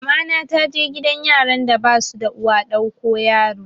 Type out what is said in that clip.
Mamana ta je gidan yaran da basu da uwa ɗauko yaro